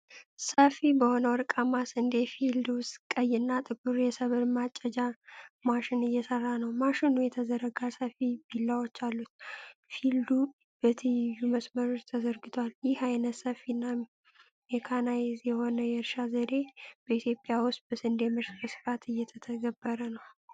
ሰፊ በሆነ የወርቃማ ስንዴ ፊልድ ውስጥ ቀይና ጥቁር የሰብል ማጨጃ መሺን እየሰራ ነው። መሺኑ የተዘረጋ ሰፊ ቢላዎች አሉት። ፊልዱ በትይዩ መስመሮች ተዘርግቷል። ይህ ዓይነቱ ሰፊና ሜካናይዝድ የሆነ የእርሻ ዘዴ በኢትዮጵያ ውስጥ በስንዴ ምርት በስፋት እየተተገበረ ነው?